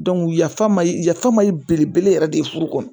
yafa ma yafa ma ye belebele yɛrɛ de ye furu kɔnɔ